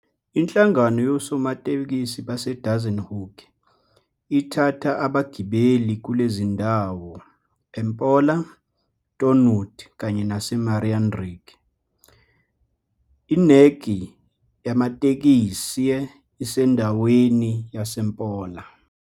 Inhlangano yosomatekisi baseDassenhoek ithatha abagibeli kulezi zindawo eMpola, Thornwood kanye naseMarinnridg, irneki yamatekisei isendaweni yaseMpola.